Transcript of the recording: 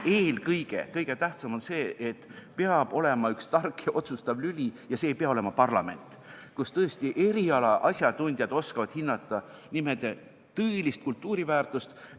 Kõige tähtsam on see, et peab olema üks tark, otsustav lüli , kus tõesti eriala asjatundjad oskavad hinnata nimede tõelist kultuuriväärtust.